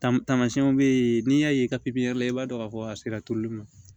Tama tamasiyɛnw be yen n'i y'a ye pipiyɛri la i b'a dɔn k'a fɔ a sera turuli ma